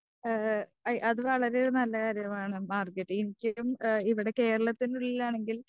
ആ അത് വളരെ നല്ലൊരു കാര്യമാണ് മാർഗരറ്റ്. എനിക്കും ഇവിടെ കേരളത്തിന്റെ ഉള്ളിലാണെങ്കിൽ